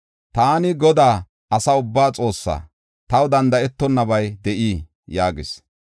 “Taani Godaa, asa ubbaa Xoossaa. Taw danda7etonnabay de7ii?” yaagis.